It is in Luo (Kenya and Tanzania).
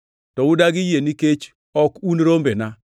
to udagi yie nikech ok un rombena.